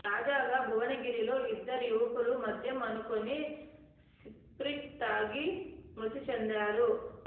తాజాగా భువనగిరిలో ఇద్దరు యువకులు మద్యం అనుకుని స్పిరిట్ తాగి మృతి చెందారు